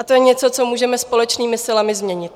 A to je něco, co můžeme společnými silami změnit.